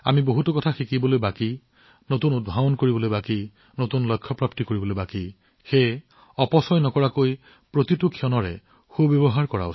আমি বহুত শিকিব লাগিব নতুন উদ্ভাৱন কৰিব লাগিব নতুন লক্ষ্য প্ৰাপ্ত কৰিব লাগিব সেয়েহে আমি এক মুহূৰ্তও নষ্ট নকৰাকৈ অনুভৱ কৰিব লাগিব